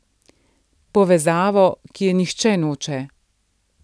Povezavo, ki je nihče noče.